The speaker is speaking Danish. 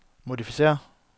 modificér